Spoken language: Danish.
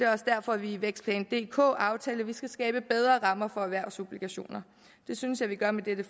også derfor vi i vækstplan dk aftalte at der skal skabes bedre rammer for erhvervsobligationer det synes jeg vi gør med dette